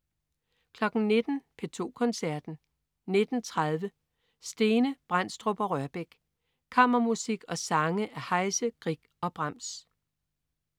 19.00 P2 Koncerten. 19.30 Stene, Brendstrup og Rørbech. Kammermusik og sange af Heise, Grieg og Brahms